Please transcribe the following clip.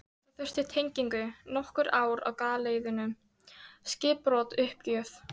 Það þurfti tengingu, nokkur ár á galeiðunni, skipbrot, uppgjöf.